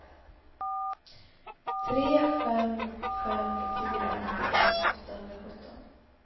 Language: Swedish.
tre fem fem fyra nittioett åttahundrasjutton